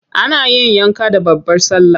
Ana yin yanka da babbar sallah.